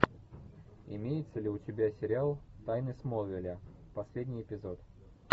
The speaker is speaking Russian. имеется ли у тебя сериал тайны смолвиля последний эпизод